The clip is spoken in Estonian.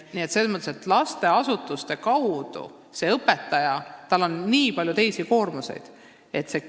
Koolieelses lasteasutuses on õpetajal palju koormavaid ülesandeid.